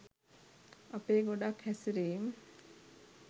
අපේ ගොඩක් හැසිරීම්